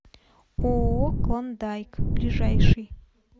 ооо клондайк ближайший